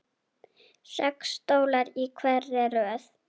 Sex stólar í hverri röð.